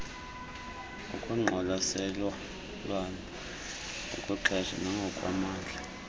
ngokwengqwalaselo ngokwexesha nangokwamandla